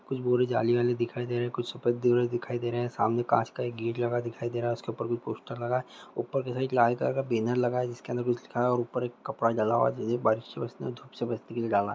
कुछ बोरे जाली वाली दिखाई दे रहे है कुछ सफेद दिखाई दे रहे हैं सामने काँच का एक गेट लगा दिखाई दे रहा है उसके ऊपर कुछ पोस्टर लगा है ऊपर के साइड लाल कलर का बैनर लगा है जिसके अंदर कुछ लिखा है और ऊपर एक कपड़ा डला हुआ है जिससे बारिश से बचने और धूप से बचने के लिए डाला।